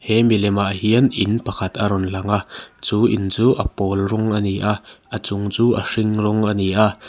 he milemah hian in pakhat a rawn lang a chu in chu a pawl rawng a ni a a chung chu a hring rawng ani a.